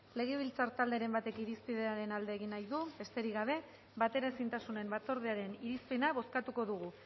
legebiltzar talderen batek irizpenaren alde edo aurka hitz egin nahi du besterik gabe bateraezintasun batzordearen irizpena bozkatuko dugu